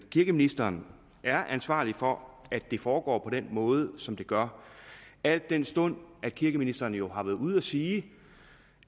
kirkeministeren er ansvarlig for at det foregår på den måde som det gør al den stund at kirkeministeren jo har været ude at sige